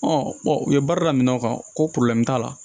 u ye baara daminɛ o kan ko t'a la